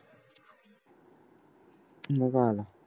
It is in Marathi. मग काय आला